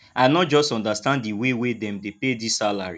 i no just understand di way wey dem dey pay dis salary